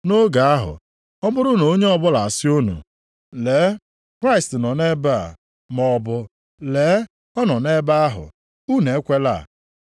Nʼoge ahụ, ọ bụrụ na onye ọbụla asị unu, ‘Lee, Kraịst nọ nʼebe a,’ maọbụ, ‘Lee, ọ nọ nʼebe ahụ,’ unu ekwela.